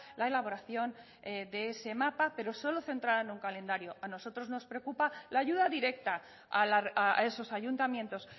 la elaboración de ese mapa pero solo centrada en un calendario a nosotros nos preocupa la ayuda directa a esos ayuntamientos